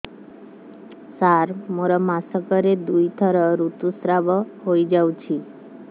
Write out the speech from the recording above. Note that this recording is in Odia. ସାର ମୋର ମାସକରେ ଦୁଇଥର ଋତୁସ୍ରାବ ହୋଇଯାଉଛି